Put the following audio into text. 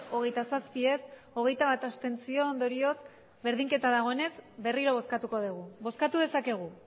hogeita zazpi ez hogeita bat abstentzio ondorioz berdinketa dagoenez berriro bozkatuko dugu bozkatu dezakegu